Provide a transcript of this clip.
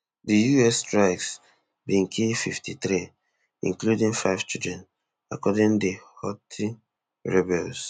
di us strikes bin kill fifty-three including five children according di houthi rebels